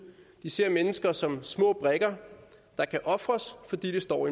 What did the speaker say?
de ser mennesker som små brikker der kan ofres fordi det står